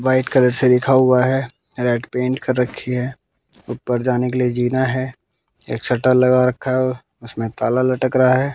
White colour से लिखा हुआ है रेड पेंट कर रखी है ऊपर जाने के लिए जीना है एक शटर लगा रखा है उसमें ताला लटक रहा है।